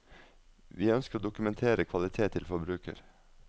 Vi ønsker å dokumentere kvalitet til forbruker.